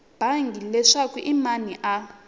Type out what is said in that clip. bangi leswaku i mani a